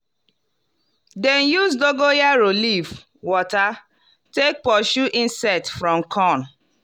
dem use dogon yaro leaf water take pursue insect from corn.